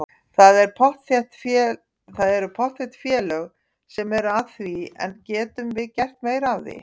Það eru pottþétt félög sem eru að því en getum við gert meira af því?